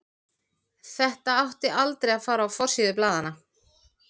Þetta átti aldrei að fara á forsíður blaðanna.